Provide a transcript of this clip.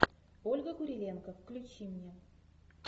ольга куриленко включи мне